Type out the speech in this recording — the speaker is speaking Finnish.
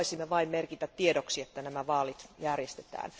Me haluaisimme vain merkitä tiedoksi, että nämä vaalit järjestetään.